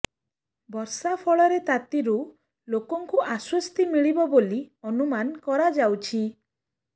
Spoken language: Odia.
ବର୍ଷା ଫଳରେ ତାତିରୁ ଲୋକଙ୍କୁ ଆଶ୍ୱସ୍ତି ମିଳିବ ବୋଲି ଅନୁମାନ କରାଯାଉଛି